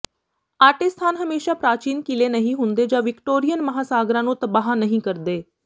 ਆਟੇ ਸਥਾਨ ਹਮੇਸ਼ਾ ਪ੍ਰਾਚੀਨ ਕਿਲੇ ਨਹੀਂ ਹੁੰਦੇ ਜਾਂ ਵਿਕਟੋਰੀਅਨ ਮਹਾਂਸਾਗਰਾਂ ਨੂੰ ਤਬਾਹ ਨਹੀਂ ਕਰਦੇ